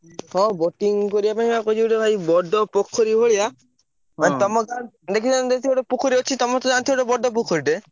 ହଁ boating କରିବା ପାଇଁ ବା କହିଛି ଗୋଟେ ଭାଇ ବଡ ପୋଖରୀ ଭଳିଆ ମାନେ ତମ ଗାଁ ଦେଖିନ ନା ଯେମିତି ଗୋଟେ ପୋଖରୀ ଅଛି ତମରତ ଜାଣିଥିବ ଗୋଟେ ବଡ ପୋଖରିଟେ।